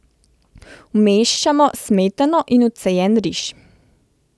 Vmešamo smetano in odcejen riž.